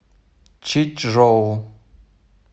чичжоу